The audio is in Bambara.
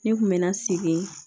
Ne kun bɛ na segin